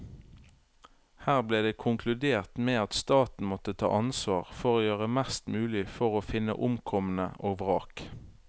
Her ble det konkludert med at staten måtte ta ansvar for å gjøre mest mulig for å finne omkomne og vrak.